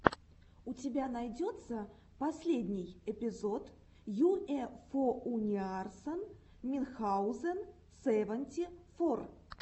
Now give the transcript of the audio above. у тебя найдется последний эпизод юэфоуниарсан минхаузен сэванти фор